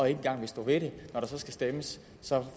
engang vil stå ved det når der så skal stemmes